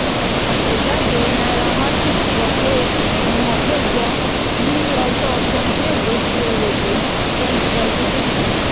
àtẹ̀jáde nairametrics sọ pé ìgbìmọ̀ péjọ ní ọjọ́ twenty eight ọsù èrèlé twenty twenty three.